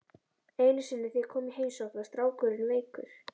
Einu sinni þegar ég kom í heimsókn var strákurinn veikur.